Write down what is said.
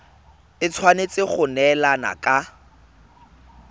e tshwanetse go neelana ka